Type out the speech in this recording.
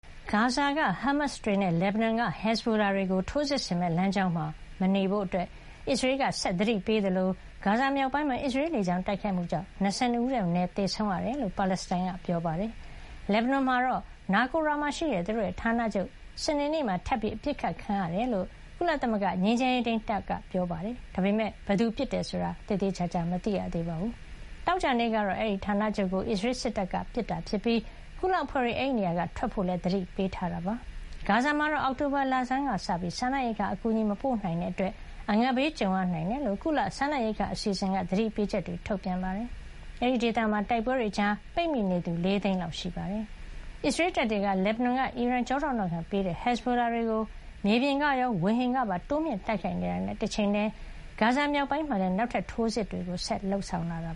ဂါဇာက ဟားမတ်စ်တွေနဲ့ လက်ဘနွန်က ဟက်ဇ်ဘိုလာတွေကို ထိုးစစ်ဆင်မယ့် လမ်းကြောင်းမှာ မနေကြဖို့ ဂါဇာနဲ့ လက်ဘနွန်တောင်ပိုင်း ဒေသခံတွေကို အစ္စရေးက သတိ ဆက်ပေးနေသလို၊ ဂါဇာမြောက်ပိုင်းမှာ နာရီပေါင်းများစွာ အစ္စရေးလေကြောင်း တိုက်ခိုက်မှုကြောင့် ၂၂ ဦးထက်မနည်း သေဆုံးခဲ့ရတယ်လို့ ပါလက်စတိုင်းတွေက ပြောပါတယ်။ လက်ဘနွန်မှာတော့ နာကိုရာ Naqoura ဒေသမှာရှိတဲ့ သူတို့ရဲ့ ဌာနချုပ် စနေနေ့မှာ ထပ်ပြီး အပစ်ခတ်ခံခဲ့ရကြောင်း ကုလသမဂ္ဂ ငြိမ်းချမ်းရေးထိန်းတပ်ဖွဲ့က ပြောပါတယ်။ ဒါပေမဲ့ ဘယ်သူ ပစ်ခတ်တယ် ဆိုတာတော့ သေသေချာချာ မသိရသေးပါဘူး။ သောကြာနေ့ကတော့ အဲဒီဌာနချုပ်ကို အစ္စရေးစစ်တပ်က ပစ်ခတ်ခဲ့တာဖြစ်ပြီး ကုလအဖွဲ့တွေ အဲဒီ နေရာက ထွက်ခွါဖို့လည်း သတိပေးထားတာပါ။ ဂါဇာမှာတော့ အောက်တိုဘာ လဆန်းကစပြီး စားနပ်ရိက္ခာအကူအညီ မပို့နိုင်တာကြောင့် အငတ်ဘေးကြုံရ နိုင်ကြောင်း WFP ကုလ စားနပ်ရိက္ခာအစီအစဉ်က သတိပေးချက်တွေ ထုတ်ပြန်ထားပါတယ်။ အဲဒီဒေသမှာ တိုက်ပွဲတွေကြား ပိတ်မိနေသူက ၄ သိန်းလောက် ရှိနေတာပါ။ အစ္စရေးတပ်တွေက လက်ဘနွန်က အီရန်က ထောက်ခံမှုပေးထားတဲ့ ဟက်ဇ်ဘိုလာတွေကို မြေပြင်ကရော ဝေဟင်ကပါ တိုးမြှင့်တိုက်ခိုက်နေတာနဲ့ တချိန်ထဲမှာပဲ ဂါဇာ မြောက်ပိုင်းမှာလည်း နောက်ထပ် ထိုးစစ်တွေ လုပ်ဆောင်လာတာ